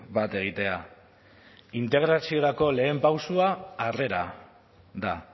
bat egitea integraziorako lehen pausoa harrera da